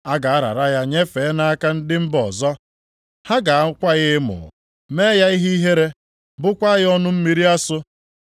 A ga-arara ya nyefee ya nʼaka ndị mba ọzọ. Ha ga-akwa ya emo, mee ya ihe ihere, bụkwaa ya ọnụ mmiri asụ.